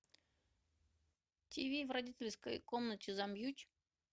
тиви в родительской комнате замьють